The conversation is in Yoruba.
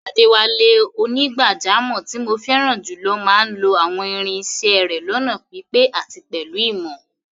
Adewale, onígbàjámọ̀ tí mo fẹ́ràn jùlọ máa ń lo àwọn irin isẹ́ rẹ̀ lọ́nà pípé àti pẹ̀lú ìmọ̀.